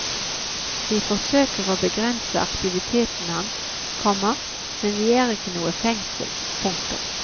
Vi forsøker er å begrense aktiviteten hans, komma men vi er ikke noe fengsel. punktum